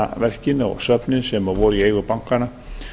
listaverkin og söfnin sem voru í eigu bankanna